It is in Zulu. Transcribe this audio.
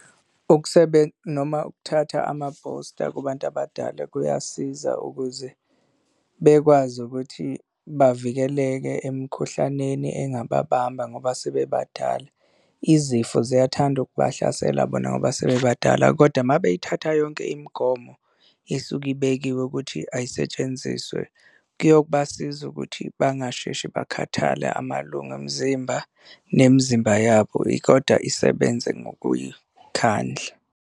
Ukusebenza, noma ukuthatha ama-booster kubantu abadala kuyasiza ukuze bekwazi ukuthi bavikeleke emikhuhlaneni engababamba ngoba sebebadala. Izifo ziyathanda ukubahlasela bona ngoba sebebadala kodwa uma beyithatha yonke imigomo isuke ibekiwe ukuthi ayisetshenziswe kuyobasiza ukuthi bangasheshi bakhathale amalunga omzimba nemizimba yabo kodwa isebenze ngokuy'khandla.